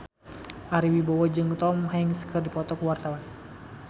Ari Wibowo jeung Tom Hanks keur dipoto ku wartawan